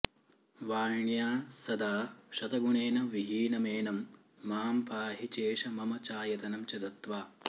वाण्या सदा शतगुणेन विहीनमेनं मां पाहि चेश मम चायतनं च दत्त्वा